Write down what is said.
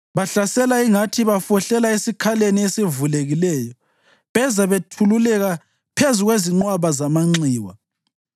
Bahlasela ingathi bafohlela esikhaleni esivulekileyo; beza bethululeka phezu kwezinqwaba zamanxiwa.